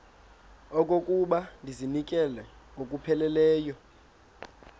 okokuba ndizinikele ngokupheleleyo